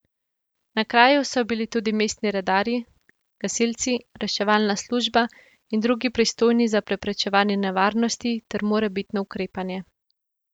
Na kraju so bili tudi mestni redarji, gasilci, reševalna služba in drugi pristojni za preprečevanje nevarnosti ter morebitno ukrepanje.